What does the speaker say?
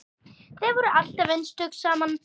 Þið voruð alltaf einstök saman.